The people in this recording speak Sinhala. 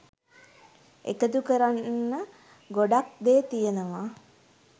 එකතු කරන්න ගොඩක් දේ තියනවා.